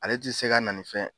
Ale ti se ka na nin fɛ